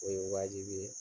O ye wajibi ye